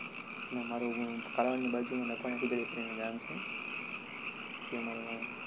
ના મારુ કાલાવડની બાજુમા કરીને ગામ છે. ત્યાં મારુ ગામ.